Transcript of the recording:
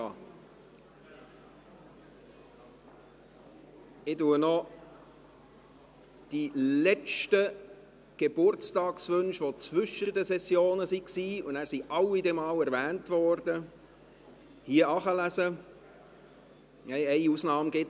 Ich verlese noch die letzten Geburtstage, welche zwischen den Sessionen stattfanden, sodass dann alle einmal erwähnt worden sind, wobei es eine Ausnahme gibt.